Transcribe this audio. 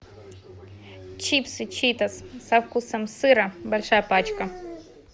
чипсы читос со вкусом сыра большая пачка